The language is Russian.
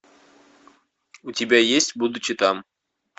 у тебя есть будучи там